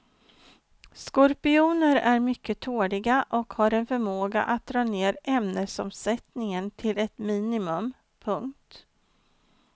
Skorpioner är mycket tåliga och har en förmåga att dra ner ämnesomsättningen till ett minimum. punkt